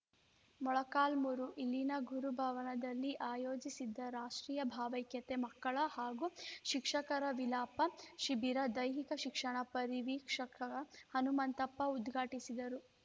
ಮೊಳಕಾಲ್ಮುರು ಇಲ್ಲಿನ ಗುರುಭವನದಲ್ಲಿ ಆಯೋಜಿಸಿದ್ದ ರಾಷ್ಟ್ರೀಯ ಭಾವೈಕ್ಯತೆ ಮಕ್ಕಳ ಹಾಗೂ ಶಿಕ್ಷಕರ ವಿಲಾಪ ಶಿಬಿರ ದೈಹಿಕ ಶಿಕ್ಷಣ ಪರಿವೀಕ್ಷಕ ಹನುಮಂತಪ್ಪ ಉದ್ಘಾಟಿಸಿದರು